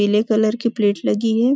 पीले कलर की प्लेट लगी है।